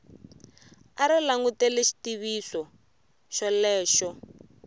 a ri langutele xitiviso xolexo